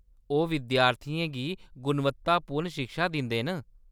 ओह्‌‌ विद्यार्थियें गी गुणवत्तापूर्ण शिक्षा दिंदे न।